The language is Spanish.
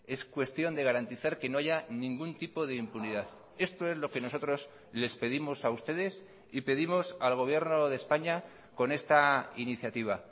es cuestión de garantizar que no haya ningún tipo de impunidad esto es lo que nosotros les pedimos a ustedes y pedimos al gobierno de españa con esta iniciativa